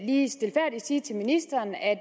lige stilfærdigt sige til ministeren at